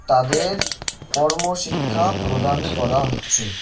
তাদের কর্মশিক্ষা প্রদান করা হচ্ছে.